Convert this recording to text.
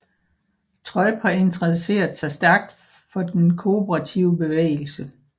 Treub har interesseret sig stærkt for den kooperative bevægelse